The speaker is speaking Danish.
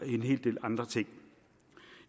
en hel del andre ting